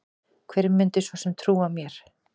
Hver myndi svo sem trúa mér?